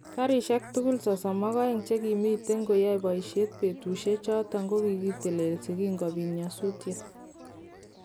Garishek tugul 32 chekimiten koyoe boishet betushek choton kokitelelso kinkobit nyosutyet.